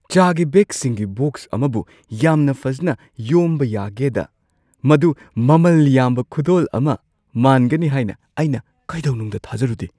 ꯆꯥꯒꯤ ꯕꯦꯒꯁꯤꯡꯒꯤ ꯕꯣꯛꯁ ꯑꯃꯕꯨ ꯌꯥꯝꯅ ꯐꯖꯅ ꯌꯣꯝꯕ ꯌꯥꯒꯦꯗ ꯃꯗꯨ ꯃꯃꯜ ꯌꯥꯝꯕ ꯈꯨꯗꯣꯜ ꯑꯃ ꯃꯥꯟꯒꯅꯤ ꯍꯥꯏꯅ ꯑꯩꯅ ꯀꯩꯗꯧꯅꯨꯡꯗ ꯊꯥꯖꯔꯨꯗꯦ꯫